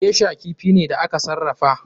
Geisher kifi ne da aka sarrafa.